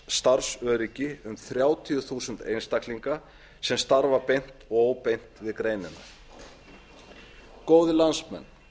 starfsöryggi um þrjátíu þúsund einstaklinga sem starfa beint og óbeint við greinina góðir landsmenn